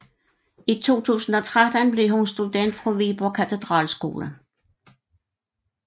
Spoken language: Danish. I 2013 blev hun student fra Viborg Katedralskole